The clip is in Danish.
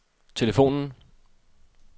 telefonen